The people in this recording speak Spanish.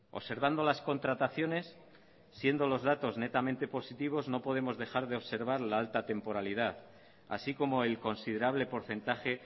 observando las contrataciones siendo los datos netamente positivos no podemos dejar de observar la alta temporalidad así como el considerable porcentaje